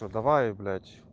ну давай блять